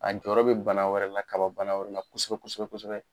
A jɔyɔrɔ bɛ bana wɛrɛ la kababana wɛrɛ la kosɛbɛ kosɛbɛ kosɛbɛ